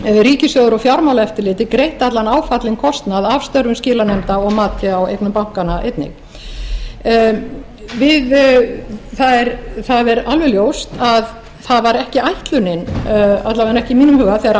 ríkissjóður og fjármálaeftirlitið greitt allan áfallinn kostnað af störfum skilanefnda og mati á eignum bankanna einnig það er alveg ljóst að það var ekki ætlunin alla vega ekki í mínum huga